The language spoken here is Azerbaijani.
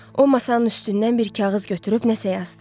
O masanın üstündən bir kağız götürüb nəsə yazdı.